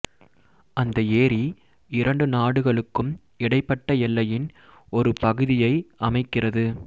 அந்த ஏரி இரண்டு நாடுகளுக்கும் இடைப்பட்ட எல்லையின் ஒரு பகுதியை அமைக்கிறது